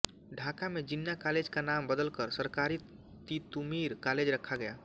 ढाका में जिन्ना कॉलेज का नाम बदलकर सरकारी तितुमीर कॉलेज रखा गया